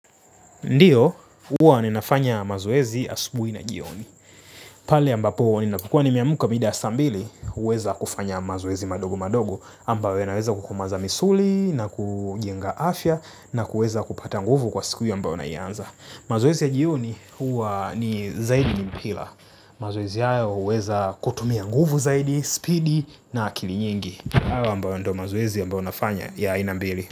Ndiyo, huwa ninafanya mazoezi asubuhi na jioni. Pale ambapo, ninapokuwa nimeamka mida ya saa mbili, huweza kufanya mazoezi madogo madogo, ambayo ya naweza kukumaliza misuli, na kujenga afya, na kuweza kupata nguvu kwa siku hiyo ambayo naianza. Mazoezi ya jioni, huwa ni zaidi ni mpira. Mazoezi hayo huweza kutumia nguvu zaidi, speedi, na akili nyingi. Hayo ambayo ndo mazoezi ambayo nafanya ya aina mbili.